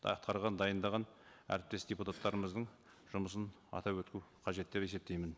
атқарған дайындаған әріптес депутаттарымыздың жұмысын атап өту қажет деп есептеймін